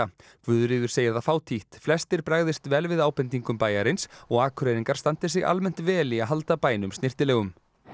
Guðríður segir það fátítt flestir bregðist vel við ábendingum bæjarins og Akureyringar standi sig almennt vel í að halda bænum snyrtilegum